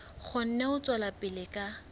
kgone ho tswela pele ka